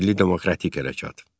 Milli demokratik hərəkət.